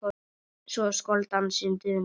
svo skal dansinn duna